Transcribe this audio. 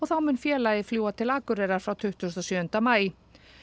þá mun félagið fljúga til Akureyrar frá tuttugasta og sjöunda maí